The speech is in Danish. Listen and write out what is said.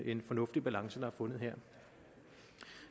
en fornuftig balance der er fundet her